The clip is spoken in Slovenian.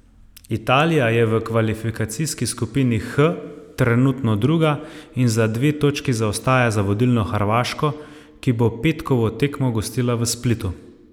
Italija je v kvalifikacijski skupini H trenutno druga in za dve točki zaostaja za vodilno Hrvaško, ki bo petkovo tekmo gostila v Splitu.